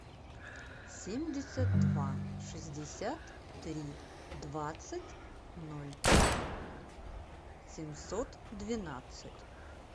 семьдесят два шестьдесят три двадцать ноль семьсот двенадцать